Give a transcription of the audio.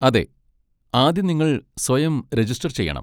അതെ, ആദ്യം നിങ്ങൾ സ്വയം രജിസ്റ്റർ ചെയ്യണം.